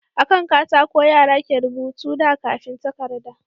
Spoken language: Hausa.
A kan katako yara ke rubuta da kafin takarda